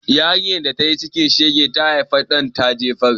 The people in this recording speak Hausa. Yarinyar da tayi cikin shege, ta haifa ɗan ta jefar.